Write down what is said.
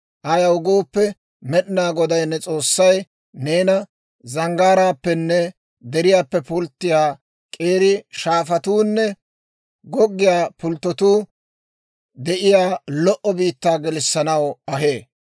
Ayaw gooppe, Med'inaa Goday ne S'oossay neena zanggaaraappenne deriyaappe pulttiyaa k'eeri shaafatuunne goggiyaa pulttotuu de'iyaa lo"o biittaa gelissanaw ahee.